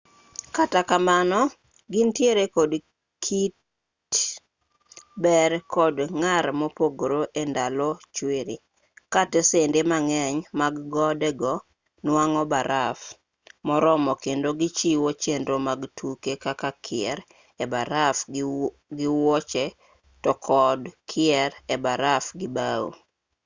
kata kamano gintiere kod kit ber kod ng'ar mopogre e ndalo chwiri ka tesende mang'eny mag gode go nwang'o baraf moromo kendo gichiwo chenro mag tuke kaka kier e baraf gi wuoche to kod kier e baraf gi bao